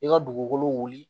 I ka dugukolo wuli